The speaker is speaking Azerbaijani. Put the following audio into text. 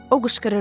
O qışqırırdı.